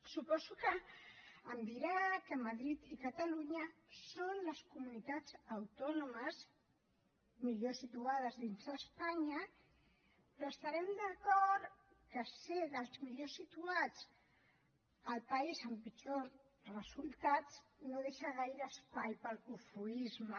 suposo que em dirà que madrid i catalunya són les comunitats autònomes millor situades dins espanya però estarem d’acord que ser dels millor situats al país amb pitjors resultats no deixa gaire espai per al cofoisme